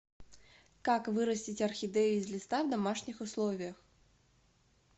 как вырастить орхидею из листа в домашних условиях